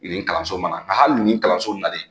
Yen kalanso mana hali ni kalanso nalen.